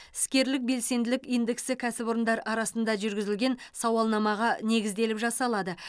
іскерлік белсенділік индексі кәсіпорындар арасында жүргізілген сауалнамаға негізделіп жасалады